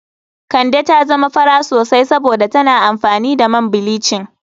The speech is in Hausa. Kande ta zama fara sosai saboda tana amfani da man bilicin.